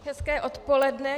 Hezké odpoledne.